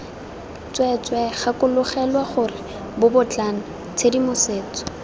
tsweetswee gakologelwa gore bobotlana tshedimosetso